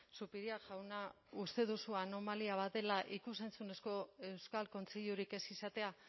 zupiria jauna uste duzu anomalia bat dela ikus entzunezko euskal kontseilurik ez izatea